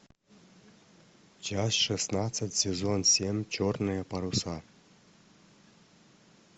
часть шестнадцать сезон семь черные паруса